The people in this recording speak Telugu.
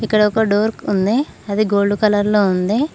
ఇక్కడ ఒక డోర్ ఉంది అది గోల్డ్ కలర్ లో ఉంది.